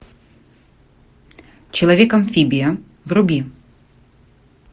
человек амфибия вруби